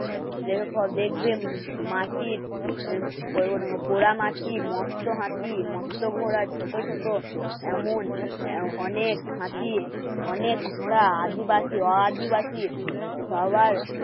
মস্ত হাসি মস্ত এমন অনেক হাতিয়ে অনেক ঘোড়া আদিবাসী আদিবাসী সবার